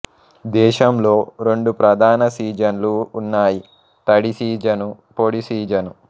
దేశంలో రెండు ప్రధాన సీజన్లు ఉన్నాయి తడి సీజను పొడి సీజను